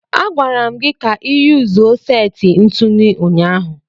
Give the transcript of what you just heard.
A gwara m gi ka iyuzuo seti ntụnụ ụnyaahụ.